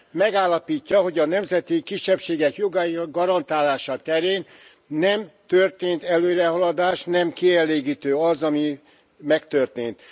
Megállapítja, hogy a nemzeti kisebbségek jogainak garantálása terén nem történt előrehaladás, nem kielégítő az, ami megtörtént.